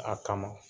A kama